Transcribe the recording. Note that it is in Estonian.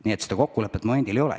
Nii et kokkulepet veel ei ole.